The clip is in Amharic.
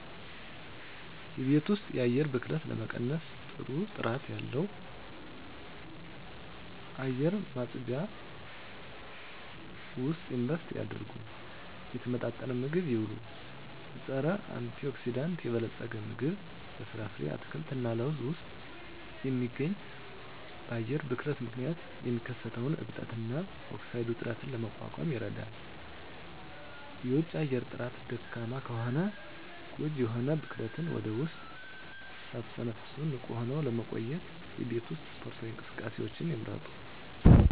የቤት ውስጥ የአየር ብክለትን ለመቀነስ ጥሩ ጥራት ባለው አየር ማጽጃ ውስጥ ኢንቨስት ያድርጉ። የተመጣጠነ ምግብ ይብሉ; በፀረ-አንቲኦክሲዳንት የበለፀገ ምግብ (በፍራፍሬ፣ አትክልት እና ለውዝ ውስጥ የሚገኝ) በአየር ብክለት ምክንያት የሚከሰተውን እብጠት እና ኦክሳይድ ውጥረትን ለመቋቋም ይረዳል። የውጪ አየር ጥራት ደካማ ከሆነ ጎጂ የሆኑ ብክለትን ወደ ውስጥ ሳትተነፍሱ ንቁ ሆነው ለመቆየት የቤት ውስጥ ስፖርታዊ እንቅስቃሴዎችን ይምረጡ።